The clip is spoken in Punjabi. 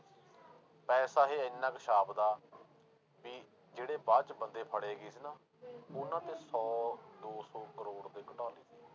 ਪੈਸਾ ਇਹ ਇੰਨਾ ਕੁ ਛਾਪਦਾ ਵੀ ਜਿਹੜੇ ਬਾਅਦ 'ਚ ਬੰਦੇ ਫੜੇ ਗਏ ਸੀ ਨਾ ਉਹਨਾਂ ਤੇ ਸੌ ਦੋ ਸੌ ਕਰੌੜ ਦੇ ਘੁਟਾਲਾ।